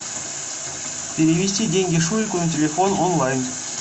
перевести деньги шурику на телефон онлайн